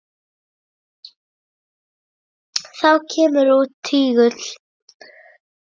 Þá kemur út tígull.